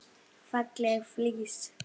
Falleg flís.